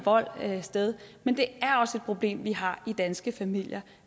sted men det er også et problem vi har i danske familier